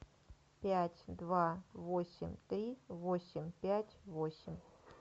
пять два восемь три восемь пять восемь